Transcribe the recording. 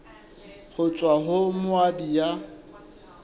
ho tswa ho moabi ya